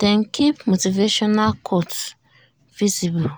dem keep motivational quotes visible